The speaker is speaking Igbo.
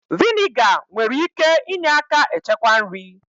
Vị́nịga nwere ike ịnye aka echekwa nri